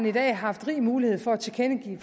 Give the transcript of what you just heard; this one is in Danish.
i dag haft rig mulighed for at tilkendegive